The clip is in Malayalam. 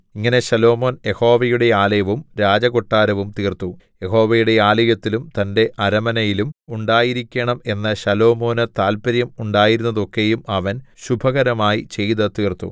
ഇങ്ങനെ ശലോമോൻ യഹോവയുടെ ആലയവും രാജകൊട്ടാരവും തീർത്തു യഹോവയുടെ ആലയത്തിലും തന്റെ അരമനയിലും ഉണ്ടായിരിക്കണം എന്ന് ശലോമോനു താല്പര്യം ഉണ്ടായിരുന്നതൊക്കെയും അവൻ ശുഭകരമായി ചെയ്തു തീർത്തു